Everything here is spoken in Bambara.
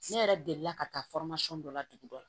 Ne yɛrɛ delila ka taa dɔ la dugu dɔ la